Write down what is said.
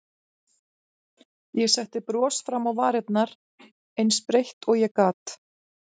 Ég setti bros fram á varirnar, eins breitt og ég gat.